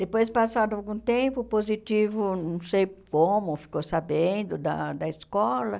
Depois, passado algum tempo, o Positivo, não sei como, ficou sabendo da da escola